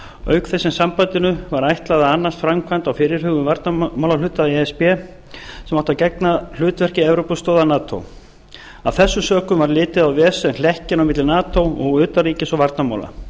auk þess sem sambandinu var ætlað að annast framkvæmd á fyrirhuguðum varnarmálahluta e s b sem átti að gegna hutvekri evrópustoða nato af þessum sökum var litið á ves sem hlekkinn á milli nato og utanríkis og varnarmála